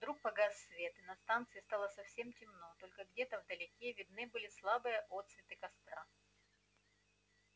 вдруг погас свет и на станции стало совсем темно только где-то вдалеке видны были слабые отсветы костра